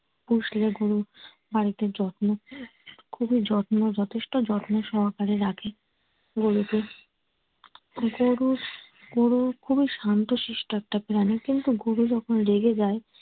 পোষলে গরু বাড়িতে যত্ন খুবই যত্ন যথেষ্ট যত্ন সহকারে রাখে গরুকে গরু গরু খুবই শান্তশিষ্ট একটা প্রাণী কিন্তু গরু যখন রেগে যায়